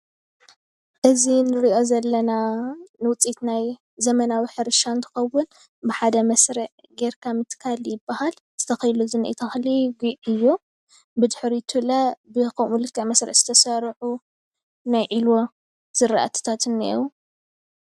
እዚ ንርእዮ ዘለና ውፅኢት ናይ ዘመናዊ ሕርሻ እንትከውን ብሓደ መስርዕ ጌርካ ምትካል ይባሃል። እዚ ተተኪሉ ዝኒአ ተክሊ ጉዕ እዮ ብድሕሪቱ ብከምኡ ልክዕ መስርዕ ዝተሰርዑ ናይ ዒልዎ ዝራእቲታት እኒአው።